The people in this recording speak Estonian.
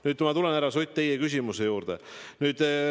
Nüüd ma tulen, härra Sutt, teie küsimuse juurde.